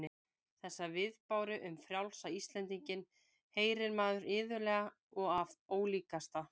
Þessa viðbáru um frjálsa Íslendinginn heyrir maður iðulega og af ólíkasta